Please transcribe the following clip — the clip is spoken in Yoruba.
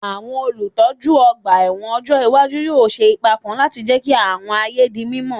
Àwọn olùtọ́jú ọgbà ẹ̀wọ̀n ọjọ́ iwájú yóò ṣe ipa kan láti jẹ́ kí àwọn ààyè di mímọ́